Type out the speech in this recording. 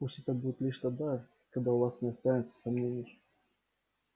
пусть это будет лишь тогда когда у вас не останется сомнений